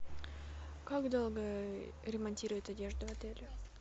как долго ремонтируют одежду в отеле